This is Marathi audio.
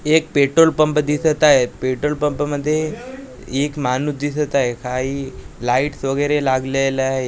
एक पेट्रोल पंप दिसत आहे पेट्रोल पम्प मधे एक माणूस दिसत आहे काही लाईटस वैगरे लागलेल्या आहेत --